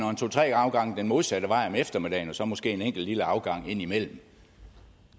to tre afgange den modsatte vej om eftermiddagen og så måske en enkelt lille afgang indimellem